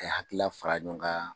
A ye hakila fara ɲɔn ka